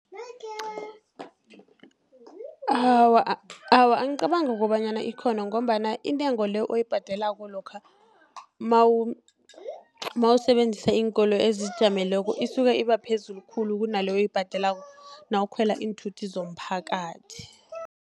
Awa, angicabangi kobanyana ikhona, ngombana intengo le, oyibhadelako lokha nawusebenzisa iinkolo ezizijameleko isuka iba phezulu khulu kunale oyibhadelako, nawukhwela iinthuthi zomphakathi.